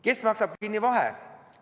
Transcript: Kes maksab kinni vahe?